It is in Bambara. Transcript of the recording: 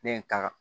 Ne ye n ta kan